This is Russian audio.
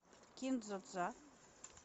кин дза дза